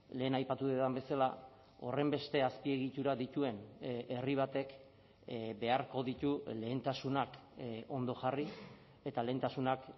lehen aipatu dudan bezala horrenbeste azpiegitura dituen herri batek beharko ditu lehentasunak ondo jarri eta lehentasunak